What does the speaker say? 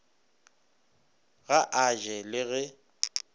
ga a je le ge